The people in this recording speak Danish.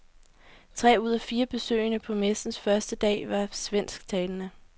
Tre ud af fire besøgende på messens første dag var svensktalende.